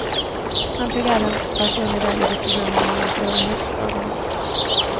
Han tog även personlig del i diskussionerna om de stora livsfrågorna.